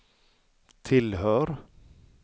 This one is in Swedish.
tillhör